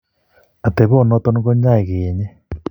Atepo noton ke ny'aay keeny'e.